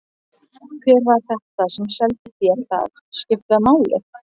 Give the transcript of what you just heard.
Hver var þetta sem seldi þér það? Skiptir það máli?